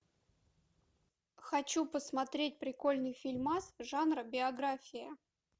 хочу посмотреть прикольный фильмас жанра биография